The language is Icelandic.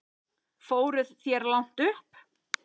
Fóruð þér langt upp?